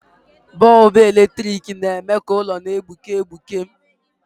Bọlbụ eletrik na-eme ka ụlọ na-egbuke egbuke.